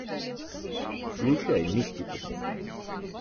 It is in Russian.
включай мистику